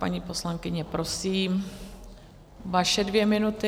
Paní poslankyně, prosím, vaše dvě minuty.